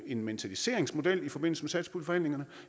en mentaliseringsmodel i forbindelse